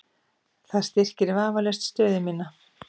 Það styrkir vafalaust stöðu mína.